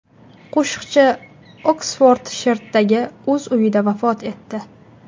Qo‘shiqchi Oksfordshirdagi o‘z uyida vafot etdi.